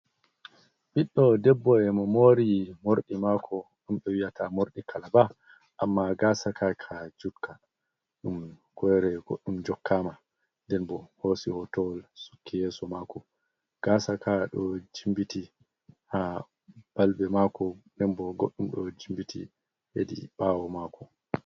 Ɓiddo debbo e mo mori morɗi maako ɗum ɓe wi'ata morɗi kalaba, amma gaasaka ka njutka, ɗum ku'ere goɗɗum jokkama. Nden bo hoosi hotowol, sukki yeso mako. Gaasaka ɗo jimbiti ha balbe maako, nden bo goɗɗum ɗo jimbiti hedi ɓaawo maako.